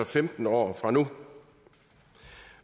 femten år fra nu